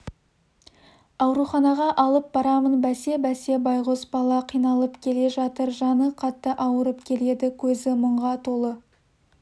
ауруханаға алып барамын бәсе-бәсе байғұс бала қиналып келе жатыр жаны қатты ауырып келеді көзі мұңға толы